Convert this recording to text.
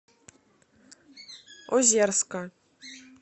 озерска